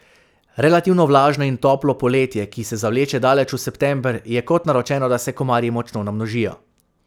Relativno vlažno in toplo poletje, ki se zavleče daleč v september, je kot naročeno, da se komarji močno namnožijo.